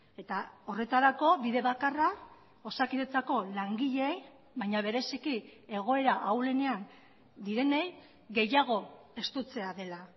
eta horretarako bide bakarra osakidetzako langileei baina bereziki egoera ahulenean direnei gehiago estutzea dela